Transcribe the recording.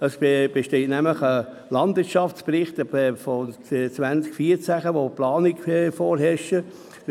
Es besteht nämlich ein Landwirtschaftsbericht von 2014, worin Planungen vorgesehen sind.